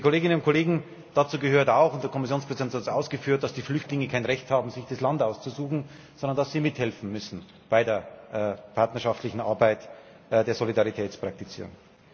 Liebe Kolleginnen und Kollegen, dazu gehört auch der Kommissionspräsident hat es ausgeführt dass die Flüchtlinge kein Recht haben, sich das Land auszusuchen, sondern dass sie mithelfen müssen bei der partnerschaftlichen Arbeit der Solidaritätspraktizierung.